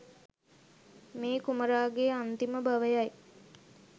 මේ කුමරාගේ අන්තිම භවයයි.